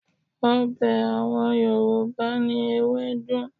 Ọbẹ̀ àwọn Yorùbá ni ewédú